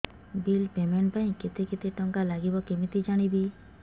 bill payment ପାଇଁ କେତେ କେତେ ଟଙ୍କା ଲାଗିବ କେମିତି ଜାଣିବି